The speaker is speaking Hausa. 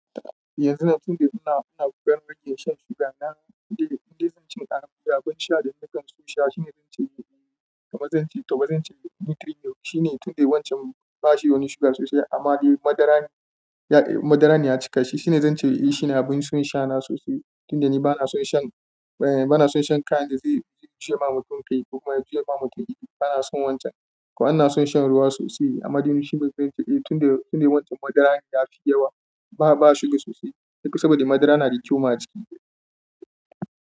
Yanzu nan tunda ina, ina gudanar da yin shan suga, na inda, inda zan ci abin sha da nakan so sha shine zan ce, eh, kamar zan ci, taɓa zan ce Nutri Milo shine tunda wancan ba shi wani suga sosai amma dai madara ne, madara ne ya cika shi. Shine zan ce eh shine abin son sha na sosai tunda ni bana son shan, eh bana son shan kayan da zai zira wa mutum kai ko kuma ya juya ma ba mutum iri. Bana son wancan kuma bana son shan ruwa sosai. Amma dai nutri Milo shine babban ce eh tunda, tunda wancan madara ne yafi yawa ba, ba suga sosai. Duka saboda madara na da kyau maki.